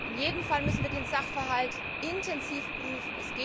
In jedem Fall müssen wir den Sachverhalt intensiv prüfen.